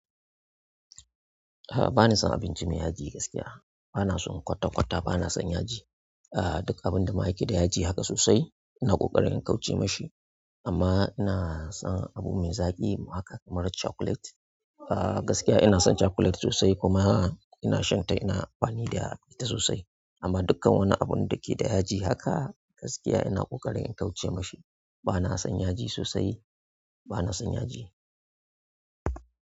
A'a bana son abinci me yaji gaskiya. Bana son kwata kwata bana son yaji ah dukkan abun da ma yake da yaji haka sosai ina ƙoƙarin in kauce mashi. Amma ina son abu me zaƙi haka kamar chocolate. Ah gaskiya ina son chocolate sosai kuma ina shan ta ina amfani da ita sosai. Amma dukkan wani abun da ke da yaji haka gaskiya ina ƙoƙarin in kauce mashi. Bana son yaji sosai, bana son yaji.